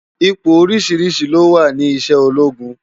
Ipó óriṣiriṣi ló wá ni iṣè ólógún